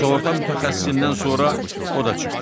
Sığorta mütəxəssisindən sonra o da çıxdı.